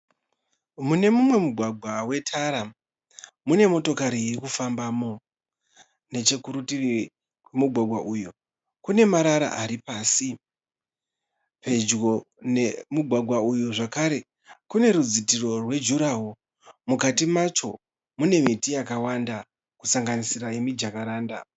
Mune mumwe mugwagwa wetara mune motokari irikufambamo. Nechekurutivi kwemugwagwa uyu kune marara ari pasi. Pedyo nemugwagwa uyu zvekare kune rudzitiro rwejurawo. Mukati macho mune miti yakawanda kusanganisira yemijakaranda.